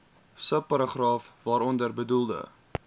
subparagraaf waaronder bedoelde